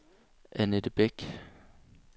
Annette Bæk